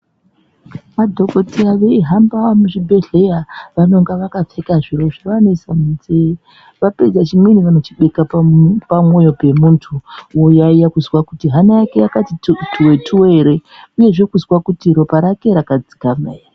Madhokodheya veihamba muzvibhedhlera vanonga vakapfeka zviro zvavanoisa munzee vapedza chimweni vanochibeka pamwoyo pemuntu voyaiya kuzwa kuti hana yake yakati twuwe twuwe ere uyezve kuzwa kuti ropa rake rakadzikama ere.